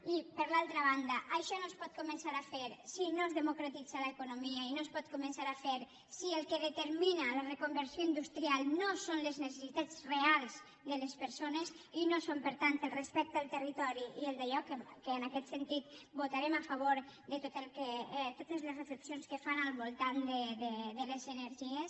i per l’altra banda això no es pot començar a fer si no es democratitza l’economia i no es pot començar a fer si el que determina la reconversió industrial no són les necessitats reals de les persones i no són per tant el respecte al territori i el dallò que en aquest sentit votarem a favor de totes les reflexions que fan al voltant de les energies